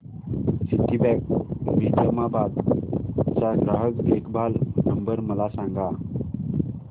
Citibank Nizamabad चा ग्राहक देखभाल नंबर मला सांगा